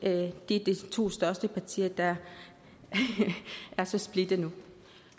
det er de to største partier der er så splittede nu